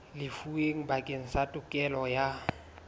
lefuweng bakeng sa tokelo ya